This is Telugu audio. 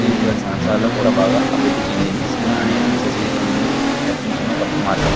ఇది బాగా అభివృద్ధి చెందింది సినిమా అనేది నిజ జీవితం నుండి తప్పించుకునే ఒక గొప్ప మార్గం.